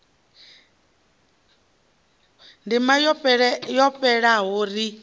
ndima yo fhelaho ri sa